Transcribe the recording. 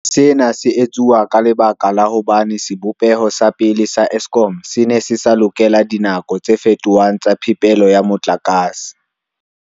Sena se etsuwa ka lebaka la hobane sebopeho sa pele sa Eskom se ne se sa lokela dinako tse fetohang tsa phepelo ya motlakase.